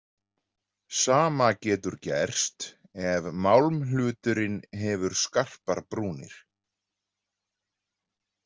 Sama getur gerst ef málmhluturinn hefur skarpar brúnir.